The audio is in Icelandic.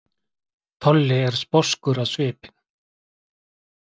Tolli er sposkur á svipinn.